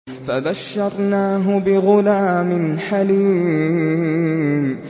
فَبَشَّرْنَاهُ بِغُلَامٍ حَلِيمٍ